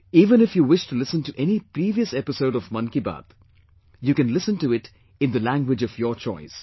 Even if you wish to listen to any previous episode of Mann Ki Baat, you can listen to it in the language of your choice